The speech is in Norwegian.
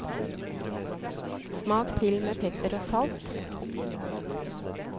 Smak til med pepper og salt.